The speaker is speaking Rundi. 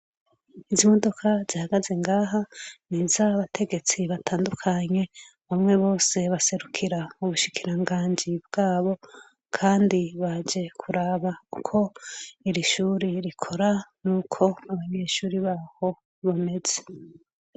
Izi modoka zihagaze ngaha nizaba tegetsi batandukanye umwe wese aserukira ubushikiranganji bwabo kandi baje kuraba ko irishure rikora nuko abanyeshuri baho bameze